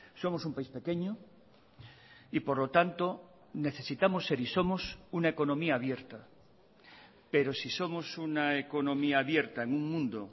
somos un país pequeño y por lo tanto necesitamos ser y somos una economía abierta pero si somos una economía abierta en un mundo